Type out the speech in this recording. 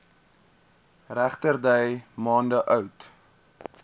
regterdy maande oud